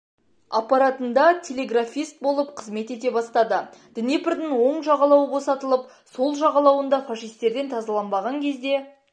аппаратында телеграфист болып қызмет ете бастады днепрдің оң жағалауы босатылып сол жағалауында фашистерден тазаланбаған кезде